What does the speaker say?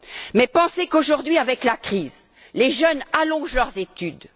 Mais pensez qu'aujourd'hui, avec la crise, les jeunes allongent leurs études.